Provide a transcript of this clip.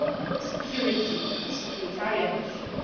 not purely a security or securitarian